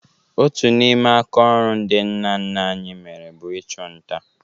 Otu n'ime akaọrụ ndị nna nna anyị mere bụ ịchụ nta